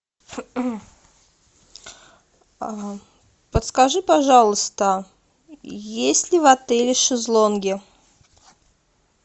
подскажи пожалуйста есть ли в отеле шезлонги